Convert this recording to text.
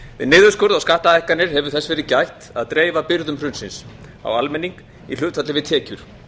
við niðurskurð á skattahækkanir hefur þess verið gætt að dreifa byrðum hrunsins á almenning í hlutfalli við tekjur